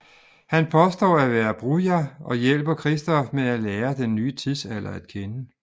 Han påstår at være Brujah og hjælper Christof med at lære den nye tidsalder at kende